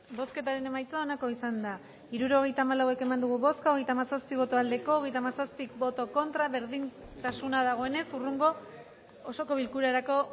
bozketaren emaitza onako izan da hirurogeita hamalau eman dugu bozka hogeita hamazazpi boto aldekoa treinta y siete contra berdintasuna dagoenez hurrengo osoko bilkurarako